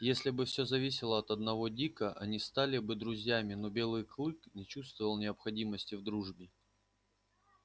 если бы всё зависело от одного дика они стали бы друзьями но белый клык не чувствовал необходимости в дружбе